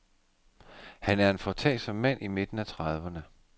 Han er en foretagsom mand i midten af trediverne.